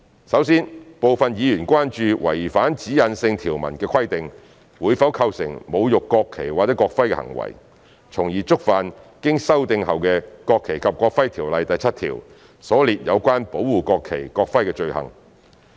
首先，部分議員關注違反指引性條文的規定，會否構成侮辱國旗或國徽的行為，從而觸犯修訂後的《條例》第7條所列有關保護國旗、國徽的罪行。